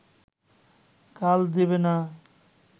কাল দেবে না